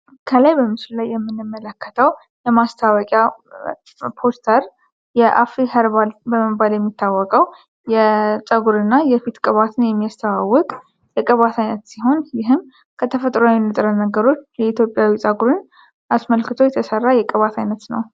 ከላይ በምሱል ላይ የምንመለከታው የማስታወቂያ ፖስተር የአፍ ህርባል በመባል የሚታወቀው የጸጉር እና የፊት ቀባትን የሚያስተዋወቅ የቅባት ዓይነት ሲሆን ይህም ከተፈጥሮ ንጥረ ነገሮች የኢትዮጵያዊ ጸጉርን አስመልክቶ የተሠራ የቀባት ዓይነት ነው።